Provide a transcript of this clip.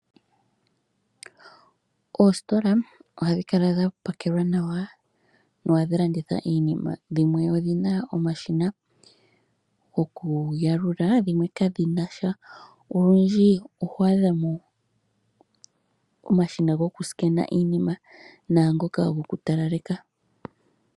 Oositola ohadhi kala dha pakelwa nawa nohadhi landitha iinima, dhimwe odhi na omashina gokuyalula, dhimwe kadhi na sha, olundji oho adha mo omashina gokusikena iinima naangoka gokutalaleka.